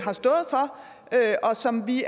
sammen vi